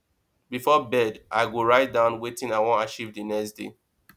before bed i go write down wetin i wan achieve the next day